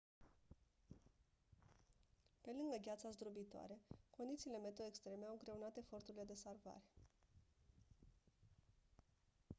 pe lângă gheața zdrobitoare condițiile meteo extreme au îngreunat eforturile de salvare